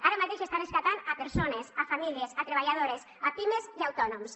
ara mateix està rescatant persones famílies treballadores pimes i autònoms